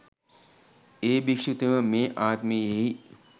ඒ භික්‍ෂුතෙම මේ ආත්මයෙහි